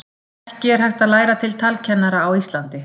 Ekki er hægt að læra til talkennara á Íslandi.